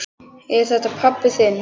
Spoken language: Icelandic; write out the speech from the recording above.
Er þetta pabbi þinn?